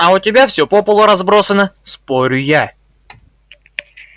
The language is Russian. а у тебя всё по полу разбросано спорю я